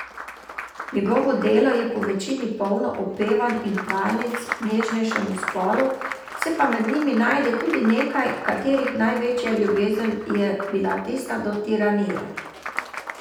Njegovo delo je povečini polno opevanj in hvalnic nežnejšemu spolu, se pa med njimi najde tudi nekaj, katerih največja ljubezen je bila tista do tiranije.